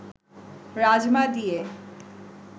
রাজমা দিয়ে